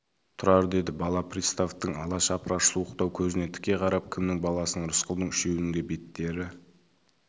тұрар деді бала приставтың ала шапыраш суықтау көзіне тіке қарап кімнің баласысың рысқұлдың үшеуінің де беттері